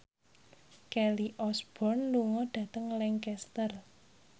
Kelly Osbourne lunga dhateng Lancaster